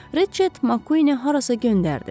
Reçett Makquin harasa göndərdi.